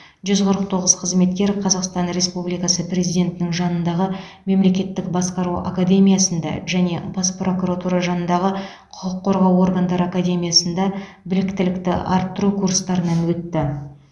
жүз қырық тоғыз қызметкер қазақстан республикасы президентінің жанындағы мемлекеттік басқару академиясында және бас прокуратура жанындағы құқық қорғау органдары академиясында біліктілікті арттыру курстарынан өтті